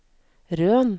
Røn